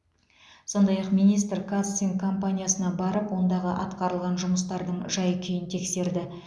сондай ақ министр қазцинк компаниясына барып ондағы атқарылған жұмыстардың жай күйін тексерді